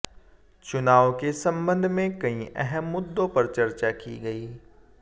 चुनाव के संबंध में कई अहम मुद्दों पर चर्चा की गई